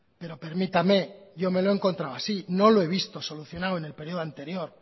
pero permítame yo me lo he encontrado así no lo he visto solucionado en el periodo anterior